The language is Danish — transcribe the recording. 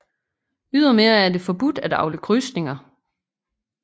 Ydermere er det forbudt at avle krydsninger